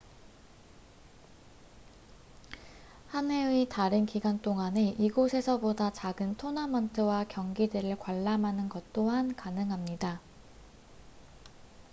한 해의 다른 기간 동안에 이곳에서 보다 작은 토너먼트와 경기들을 관람하는 것 또한 가능합니다